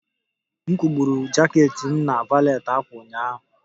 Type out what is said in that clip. M kwụgburu jaket m na valet ákwà ụnyaahụ